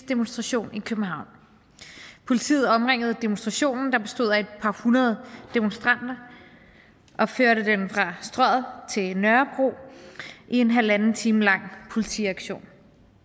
demonstration i københavn politiet omringede demonstrationen der bestod af et par hundrede demonstranter og førte dem fra strøget til nørrebro i en halvanden time lang politiaktion